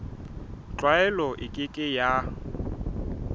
tlwaelo e ke ke ya